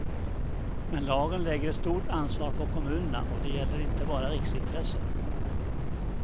Men lagen lägger ett stort ansvar på kommunerna, och det gäller inte bara riksintressen.